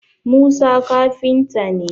Musa kafinta ne